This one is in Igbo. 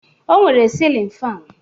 O nwere silin fan.